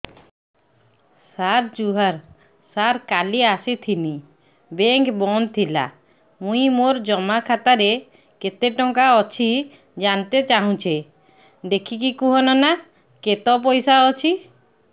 ସାର ଜୁହାର ସାର କାଲ ଆସିଥିନି ବେଙ୍କ ବନ୍ଦ ଥିଲା ମୁଇଁ ମୋର ଜମା ଖାତାରେ କେତେ ଟଙ୍କା ଅଛି ଜାଣତେ ଚାହୁଁଛେ ଦେଖିକି କହୁନ ନା କେତ ପଇସା ଅଛି